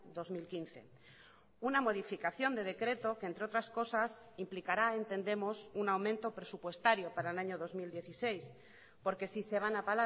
dos mil quince una modificación de decreto que entre otras cosas implicará entendemos un aumento presupuestario para el año dos mil dieciséis porque si se van a